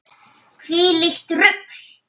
Hvílíkt rugl!